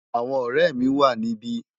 Awòn òrè mi wá nibi